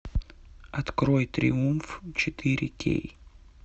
открой триумф четыре кей